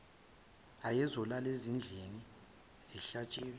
ayezolala ezidlile kusihlwa